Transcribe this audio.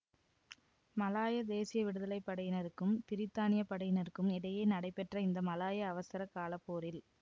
Malaya தேசிய விடுதலை படையினருக்கும் பிரித்தானிய படையினருக்கும் இடையே நடைபெற்ற இந்த மலாயா அவசர கால போரில்